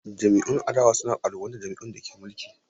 Jam’iyyun adawa na ƙalubalantar jam’iyyun da ke mulki.